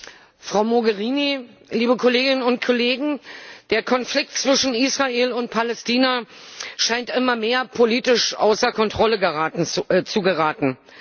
Frau Präsidentin, Frau Mogherini, liebe Kolleginnen und Kollegen! Der Konflikt zwischen Israel und Palästina scheint immer mehr politisch außer Kontrolle zu geraten.